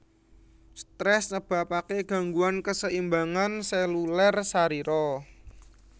Stres nyebabaken ganggguan kaseimbangan seluler sarira